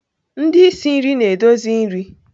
Ndị isi nri na-edozi nri.